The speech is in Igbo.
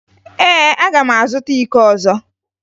Ee, aga m azụta iko ọzọ